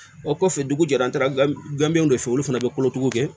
O kɔfɛ dugu jɛra an taara gandenw de fɛ olu fana bɛ kolotuguw kɛ